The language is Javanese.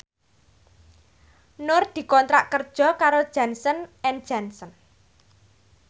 Nur dikontrak kerja karo Johnson and Johnson